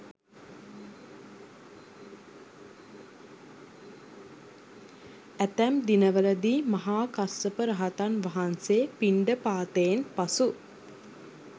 ඇතැම් දිනවලදී මහා කස්සප රහතන් වහන්සේ පිණ්ඩපාතයෙන් පසු